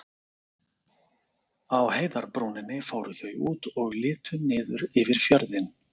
Á heiðarbrúninni fóru þau út og litu niður yfir fjörðinn.